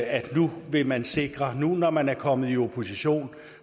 at nu vil man sikre det nu når man er kommet i opposition